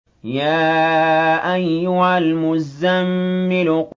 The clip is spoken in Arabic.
يَا أَيُّهَا الْمُزَّمِّلُ